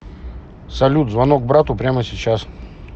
салют звонок брату прямо сейчас